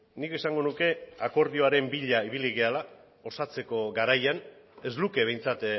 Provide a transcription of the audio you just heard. nik esango nuke akordioaren bila ibili garela osatzeko garaian ez luke behintzat